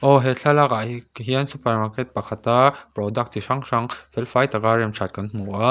aww he thlalakah hian super market pakhata product chi hrang hrang fel fai taka rem ṭhat kan hmu a.